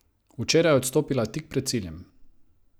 Včeraj je odstopila tik pred ciljem.